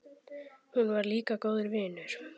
Hún var líka góður vinur.